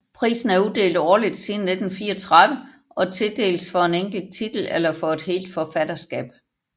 Prisen er uddelt årligt siden 1934 og tildeles for en enkelt titel eller for et helt forfatterskab